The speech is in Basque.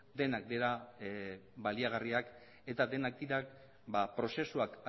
denak dira baliagarriak eta denak dira prozesuak